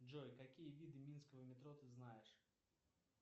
джой какие виды минского метро ты знаешь